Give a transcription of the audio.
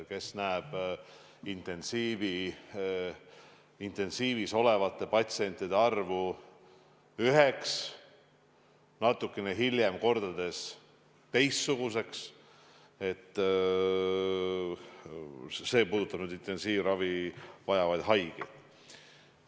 Kord on intensiivis olevate patsientide arv üks, natukene hiljem kordades teistsugune – see puudutab nüüd intensiivravi vajavaid haigeid.